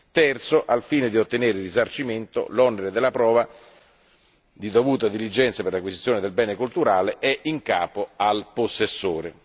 terzo, al fine di ottenere il risarcimento, l'onere della prova di dovuta diligenza per l'acquisizione del bene culturale è in capo al possessore.